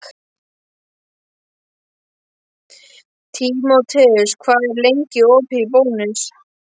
Tímoteus, hvað er lengi opið í Bónus?